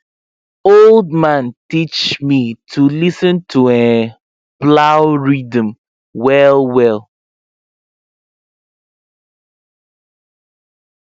old man teach me to lis ten to um plow rhythm well well